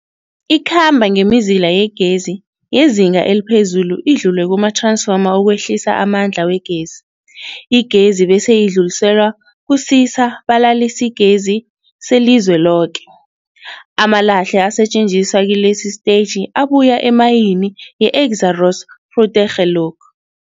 Ikhamba ngemizila yegezi yezinga eliphezulu idlule kumathransfoma ukwehlisa amandla wegezi. Igezi bese idluliselwa kusisa-balalisigezi selizweloke. Amalahle asetjenziswa kilesi sitetjhi abuya emayini yeExxaro's Grootegeluk .